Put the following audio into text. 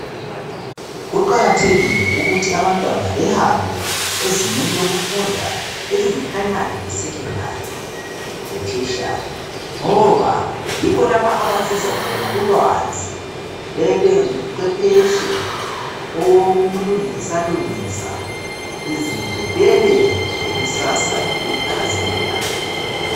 Kuqakathekile ukuthi abantwana behambe ezingeni lokufunda eliyi primary le secondary le tertiary ngoba yikho lapha abazuza khona ulwazi bebe nguchwephetshe owokulungisa lungisa izinto bebelekusasa elikhazimulayo.